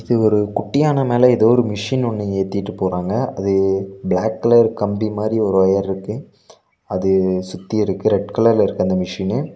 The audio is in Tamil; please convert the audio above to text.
ஒரு குட்டியான மேல ஏதோ ஒரு மிஷின் ஒன்னு ஏத்திட்டு போறாங்க அது பிளாக் கலர் கம்பி மாரி ஒரு ஒயர்ருக்கு அது சுத்தி இருக்கு ரெட் கலர்ல இருக்கு இந்த மிஷினு .